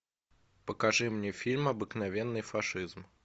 покажи мне фильм обыкновенный фашизм